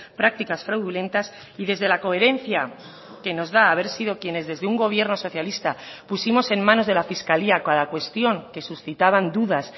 prácticas fraudulentas y desde la coherencia que nos da haber sido quienes desde un gobierno socialista pusimos en manos de la fiscalía cada cuestión que suscitaban dudas